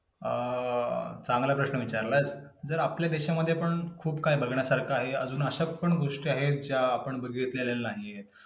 अं चांगला प्रश्न विचारला आहेस. जर आपल्या देशांमध्ये पण खूप कांही बघण्या सारखं आहे. अजून अशाच पण गोष्टी आहेत, ज्या आपण बघितलेल्या नाही आहेत.